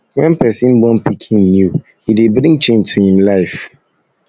when person born pikin pikin new e dey bring change to im life